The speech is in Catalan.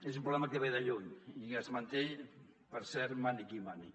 és un problema que ve de lluny i es manté per cert mani qui mani